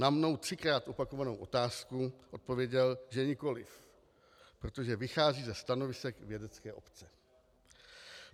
Na mnou třikrát opakovanou otázku odpověděl, že nikoliv, protože vychází ze stanovisek vědecké obce.